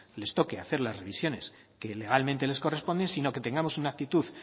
les toque hacer las revisiones que legalmente les corresponden sino que tengamos una actitud